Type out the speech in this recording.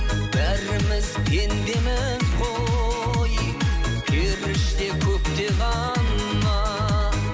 бәріміз пендеміз ғой періште көкте ғана